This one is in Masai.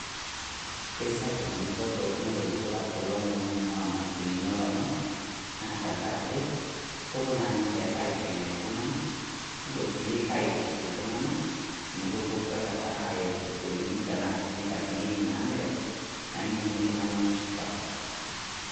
Kesapuk dupoto nayautua ilomon oing'ua mashinini olomon, na tankaraki kopuo na ninche aiteng'en iltung'anak, nopuo si aitiship iltung'anak amu kopuo aikata ayau storini tanaa si nkatinin naamelook, naining' iltung'ani neshipa.